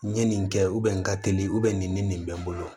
N ye nin kɛ n ka teli nin bɛ n bolo